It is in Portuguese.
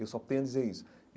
Eu só tenho a dizer isso.